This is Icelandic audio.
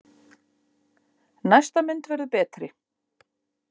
Næsta mynd verður betri!